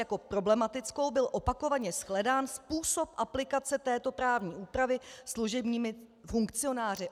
Jako problematickou byl opakovaně shledán způsob aplikace této právní úpravy služebními funkcionáři.